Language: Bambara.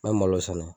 N'an malo sɛnɛ